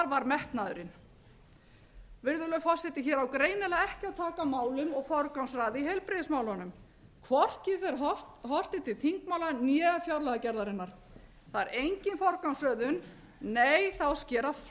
var metnaðurinn virðulegi forseti hér á greinilega ekki að taka á málum og forgangsraða í heilbrigðismálunum hvorki þegar horft er til þingmála né fjárlagagerðarinnar það er engin forgangsröðun nei það á að skera